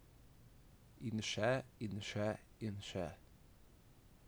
In še in še in še ...